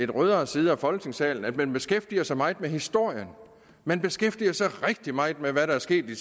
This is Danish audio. rødere side af folketingssalen at man beskæftiger sig meget med historien man beskæftiger sig rigtig meget med hvad der er sket de